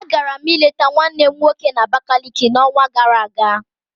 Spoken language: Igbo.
Agara m ịleta nwannem nwoke na Abakaliki n'onwa gara aga